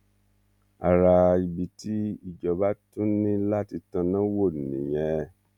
ara ibi tí ìjọba tún ní láti tanná wò nìyẹn